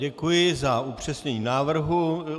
Děkuji za upřesnění návrhu.